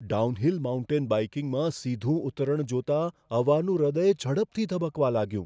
Downhill mountain બાઇકિંગમાં સીધું ઉતરણ જોતાં અવાનું હૃદય ઝડપથી ધબકવા લાગ્યું.